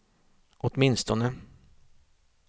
åtminstone